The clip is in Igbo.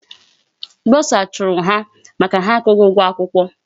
Bursar chụrụ ha maka ha akwụghị ụgwọ akwụkwọ.